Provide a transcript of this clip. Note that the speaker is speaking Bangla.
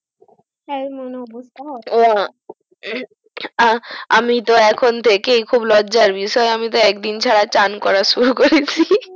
এমন অবস্থা আহ আমি তো এখন থেকেই খুব লজ্জার বিষয় আমি তো একদিন ছাড়া চান করা শুরু করেছি